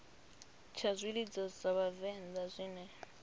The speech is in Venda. tsha zwilidzo zwa vhavenḓa zwine